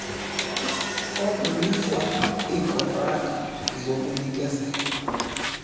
okunikwa iikontraka zokunikezela